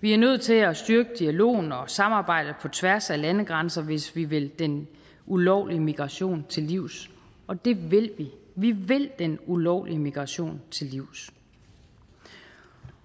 vi er nødt til at styrke dialogen og samarbejdet på tværs af landegrænser hvis vi vil den ulovlige migration til livs og det vil vi vi vil den ulovlige migration til livs